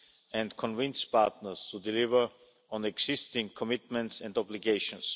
and convince partners to deliver on existing commitments and obligations.